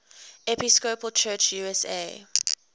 episcopal church usa